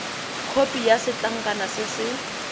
khopi ya setlankana se se